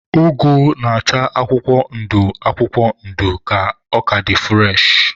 Ụgụ na-acha akwụkwọ ndụ akwụkwọ ndụ ka ọ ka dị fụreshị..